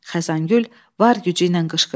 Xəzangül var gücü ilə qışqırdı.